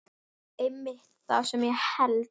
Einmitt það sem ég hélt.